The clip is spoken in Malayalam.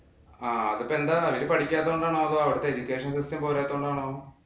അത് ഇപ്പം എന്താ അവര് പഠിക്കാത്തോണ്ടാണോ? അതോ അവിടത്തെ education system പോരാത്തോണ്ടാണോ?